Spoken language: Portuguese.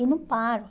E não paro.